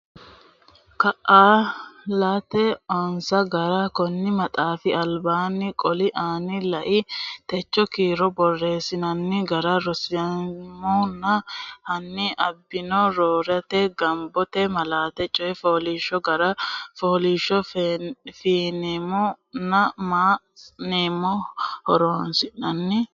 Kaa latta onsa gara konni maxaafi albaanni qooli aana lai techo kiiro borreessinanni gara ronseemmona hanni ani borreessate Gombote malaate coy fooliishsho gara faasho faneemmo nena mma nena horonsi nannihu ha.